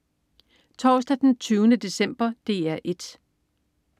Torsdag den 20. december - DR 1: